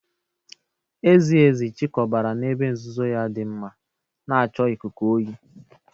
Ezi ezi chịkọbara n’ebe nzuzo ya dị mma, na-achọ ikuku oyi.